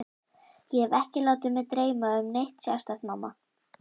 Ég hef ekki látið mig dreyma um neitt sérstakt, mamma.